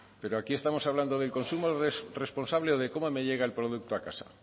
pero aquí estamos hablando del consumo responsable o de cómo me llega el producto a casa